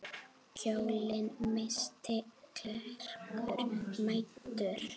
Kjólinn missti klerkur mæddur.